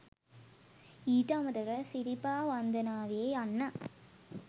ඊට අමතරව සිරිපා වන්දනාවේ යන්න